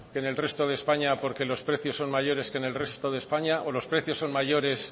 que en el resto de españa porque los precios son mayores que en el resto de españa o los precios son mayores